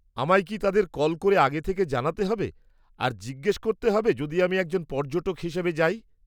আমায় কি তাদের কল করে আগে থেকে জানাতে হবে আর জিজ্ঞস করতে হবে যদি আমি একজন পর্যটক হিসেবে যাই?